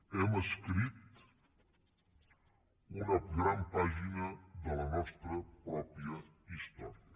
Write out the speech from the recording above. hem escrit una gran pàgina de la nostra pròpia història